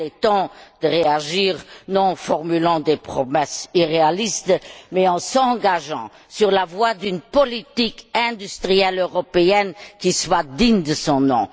Il est temps de réagir, non en formulant des promesses irréalistes, mais en s'engageant sur la voie d'une politique industrielle européenne qui soit digne de son nom.